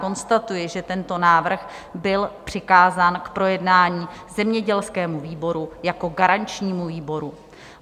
Konstatuji, že tento návrh byl přikázán k projednání zemědělskému výboru jako garančnímu výboru.